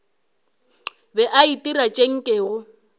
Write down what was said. be a itira tše nkego